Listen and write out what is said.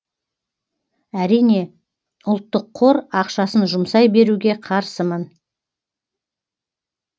әрине ұлттық қор ақшасын жұмсай беруге қарсымын